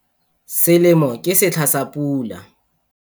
Selemo ke setlha sa pula.